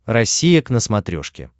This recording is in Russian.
россия к на смотрешке